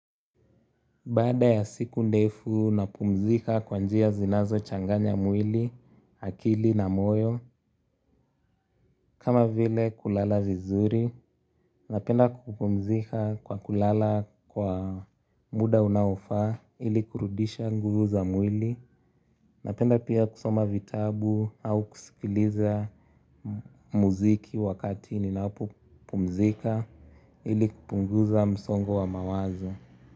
Baada ya siku ndefu napumzika kwa njia zinazo changanya mwili, akili na moyo kama vile kulala vizuri, napenda kupumzika kwa kulala kwa muda unaofaa ili kurudisha nguvu za mwili, napenda pia kusoma vitabu au kusikiliza muziki wakati ninapopumzika ili kupunguza msongo wa mawazo.